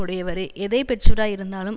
உடையவரே எதை பெற்றவராய் இருந்தாலும்